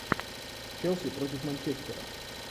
челси против манчестера